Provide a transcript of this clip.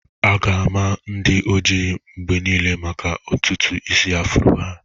A ga-ama ndị oji mgbe niile maka ntutu isi afrọ ha.